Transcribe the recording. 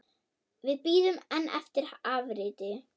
Við bíðum enn eftir afriti.